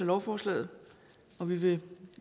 lovforslaget og vi vil